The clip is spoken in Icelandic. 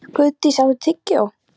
Guðdís, áttu tyggjó?